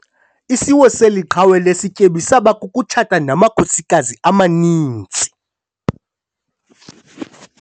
Isiwo seli qhawe lesityebi saba kukutshata namakhosikazi amaninzi.